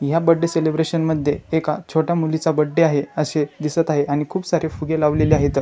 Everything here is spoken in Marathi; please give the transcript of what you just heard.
या बर्थडे सेलिब्रेशन मध्ये एका छोट्या मुलीचा बर्थडे आहे असे दिसत आहे आणि खुप सारे फुगे लावलेले आहेत.